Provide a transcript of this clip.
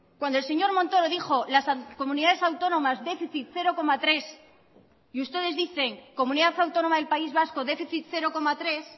cuando el señor montoro dijo las comunidades autónomas déficit cero coma tres y ustedes dicen comunidad autónoma del país vasco déficit cero coma tres